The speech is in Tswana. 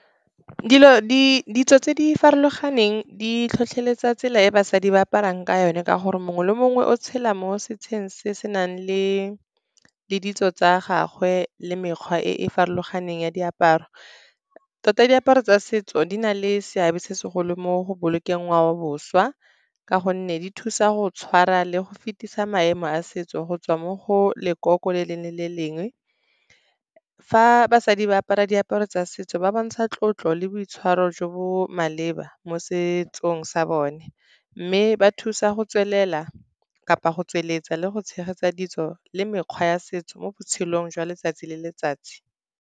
Ditso tse di farologaneng di tlhotlheletsa tsela e basadi ba aparang ka yone ka gore mongwe le mongwe o tshela mo setsheng se se nang le ditso tsa gagwe le mekgwa e e farologaneng ya diaparo. Tota diaparo tsa setso di na le seabe se segolo mo go bolokeng ngwao boswa, ka gonne di thusa go tshwara le go fetisa maemo a setso go tswa mo go lekoko le lengwe le le lengwe. Fa basadi ba apara diaparo tsa setso, ba bontsha tlotlo le boitshwaro jo bo maleba mo setsong sa bone, mme ba thusa go tswelela kapa go tsweletsa le go tshegetsa ditso le mekgwa ya setso mo botshelong jwa letsatsi le letsatsi.